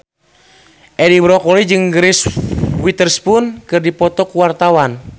Edi Brokoli jeung Reese Witherspoon keur dipoto ku wartawan